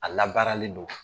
A labaaralen don